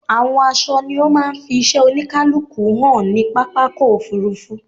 Àwọn aṣọ ni ó máa ń fi iṣẹ́ oníkálukú hàn ní pápákọ̀ òfurufú.